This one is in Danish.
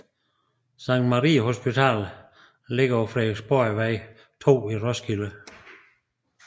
Sankt Maria Hospital ligger på Frederiksborgvej 2 i Roskilde